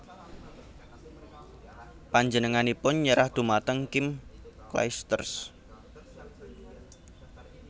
Panjenenganipun nyerah dhumateng Kim Clijsters